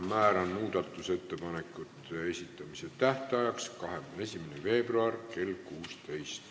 Määran muudatusettepanekute esitamise tähtajaks 21. veebruari kell 16.